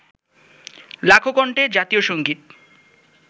লাখো কন্ঠে জাতীয় সংগীত